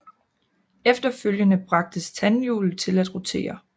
Efterfølgende bragtes tandhjulet til at rotere